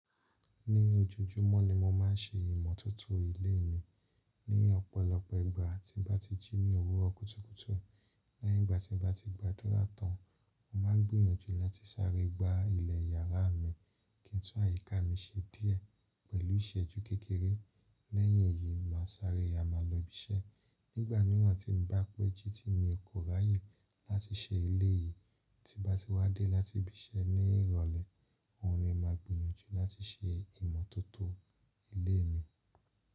Ní ojojúmọ́ ni mo má ń se ìmọ̀tótó ilé mi. Ní ọ̀pọ̀lọpọ̀ ìgbà tí n bá ti jí ní òwúrọ̀ kùtùkùtù. Lẹ́yìn ìgbà tí n bá ti gbàdúrà tán, mo má ń gbìyànjú láti sáré gba ilẹ̀ yàrá mi kí n tú àyíká mi ṣe díẹ̀ pẹ̀lú ìṣẹ́jú kékeré. Lẹ́yìn èyí, màá sáré ya ma lo ibi iṣẹ́. Nígbà míràn tí n bá péjú tí n kò ráàyè láti ṣe ilé yìí, tí n bá ti wá dé láti ibi iṣẹ́ ní ìrọ̀lẹ́, òun ni màá gbìyànjú láti se ìmọ́tótó ilé mi.